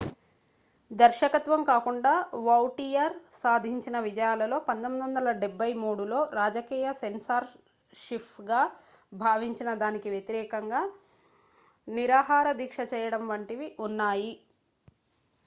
దర్శకత్వం కాకుండా వౌటియర్ సాధించిన విజయాలలో 1973లో రాజకీయ సెన్సార్షిప్గా భావించిన దానికి వ్యతిరేకంగా నిరాహార దీక్ష చేయడం వంటివి ఉన్నాయి